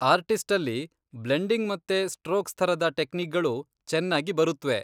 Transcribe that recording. ಆರ್ಟಿಸ್ಟಲ್ಲಿ blending ಮತ್ತೆ strokes ಥರದ ಟೆಕ್ನೀಕ್ಗಳು ಚೆನ್ನಾಗಿ ಬರೂತ್ವೆ.